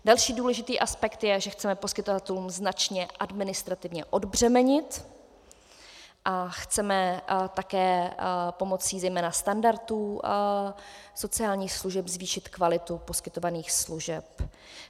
Další důležitý aspekt je, že chceme poskytovatelům značně administrativně odbřemenit a chceme také pomocí zejména standardů sociálních služeb zvýšit kvalitu poskytovaných služeb.